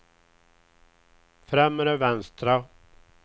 främre vänstra